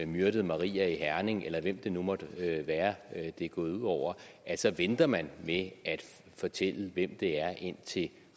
myrdet maria i herning eller hvem det nu måtte være det er gået ud over så venter man med at fortælle hvem det er indtil